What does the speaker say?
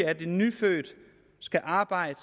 at en nyfødt skal arbejde